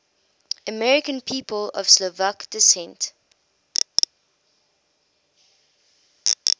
american people of slovak descent